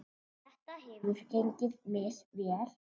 Þetta hefur gengið misvel.